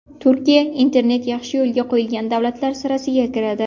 Turkiya internet yaxshi yo‘lga qo‘yilgan davlatlar sirasiga kiradi.